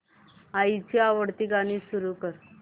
आईची आवडती गाणी सुरू कर